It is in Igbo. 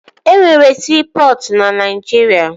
E nwere siipọtụ na Naijiria